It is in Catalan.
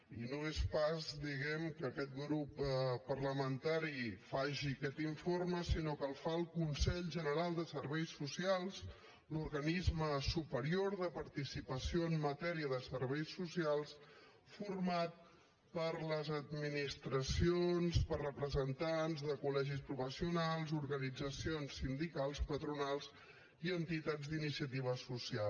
i no és pas diguem ne que aquest grup parlamentari faci aquest informe sinó que el fa el consell general de serveis socials l’organisme superior de participació en matèria de serveis socials format per les administracions per representants de col·legis professionals organitzacions sindicals patronals i entitats d’iniciativa social